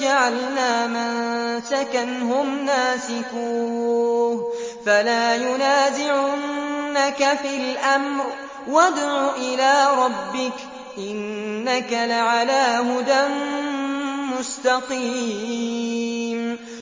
جَعَلْنَا مَنسَكًا هُمْ نَاسِكُوهُ ۖ فَلَا يُنَازِعُنَّكَ فِي الْأَمْرِ ۚ وَادْعُ إِلَىٰ رَبِّكَ ۖ إِنَّكَ لَعَلَىٰ هُدًى مُّسْتَقِيمٍ